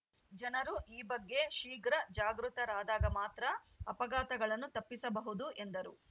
ಜನರು ಈ ಬಗ್ಗೆ ಶೀಘ್ರ ಜಾಗೃತರಾದಾಗ ಮಾತ್ರ ಅಪಘಾತಗಳನ್ನು ತಪ್ಪಿಸಬಹುದು ಎಂದರು